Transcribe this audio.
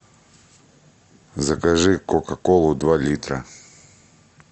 закажи кока колу два литра